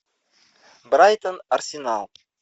брайтон арсенал